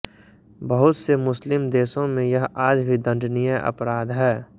बहुत से मुस्लिम देशों में यह आज भी दण्डनीय अपराध है